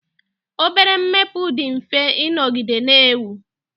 obere mbepụ dị mfe ịnọgide na-enwe